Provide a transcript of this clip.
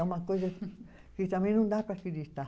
É uma coisa que também não dá para acreditar.